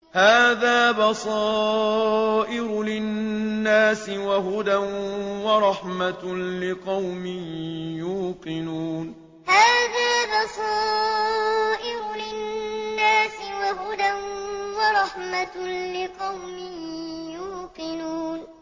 هَٰذَا بَصَائِرُ لِلنَّاسِ وَهُدًى وَرَحْمَةٌ لِّقَوْمٍ يُوقِنُونَ هَٰذَا بَصَائِرُ لِلنَّاسِ وَهُدًى وَرَحْمَةٌ لِّقَوْمٍ يُوقِنُونَ